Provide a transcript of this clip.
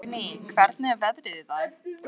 Dagný, hvernig er veðrið í dag?